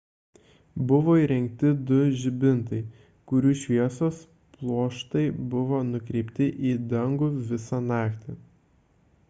buvo įrengti du žibintai kurių šviesos pluoštai buvo nukreipti į dangų visą naktį